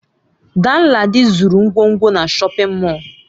Danladi zuru ngwongwo na shọpin Mọll.